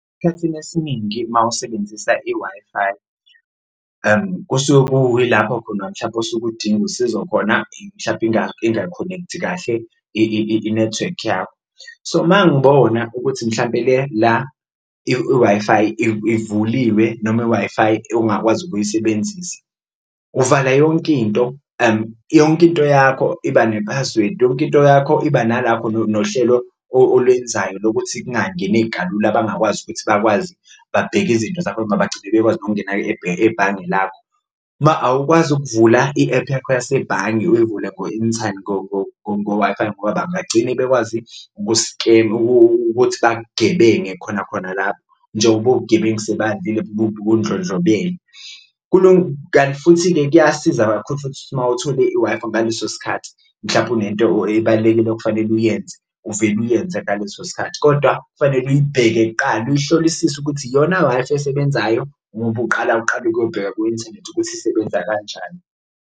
Esikhathini esiningi uma usebenzisa i-Wi-Fi kusuke ku ilapho khona mhlawumpe osuke udinga usizo khona mhlampe inga-connect-i kahle inethiwekhi yakho. So, uma ngibona ukuthi mhlampe la i-Wi-Fi ivuliwe noma i-Wi-Fi ongakwazi ukuyisebenzisa. Uvala yonke into, yonke into yakho iba ne-password, yonke into yakho iba nohlelo olwenzayo lokuthi kungangeneki kalula bangakwazi ukuthi bakwazi babheke izinto zakho noma bagcine bekwazi nokungena ebhange lakho. Awukwazi ukuvula i-app yakho yasebhange uyivule ngo-Wi-Fi ngoba bangagcine bekwazi ukuthi bakugebenge khona khona lapho njengoba ubugebengu sebandile bundlondlobele. Kanti futhi-ke kuyasiza kakhulu futhi uma uthole i-Wi-Fi ngaleso sikhathi mhlawumpe unento ebalulekile okufanele uyenze uvele uyenze ngaleso sikhathi. Kodwa kufanele iyibheke kuqala uyihlolisise ukuthi iyona Wi-Fi esebenzayo noma uqala uqale uyobheka ku-inthanethi ukuthi isebenza kanjani.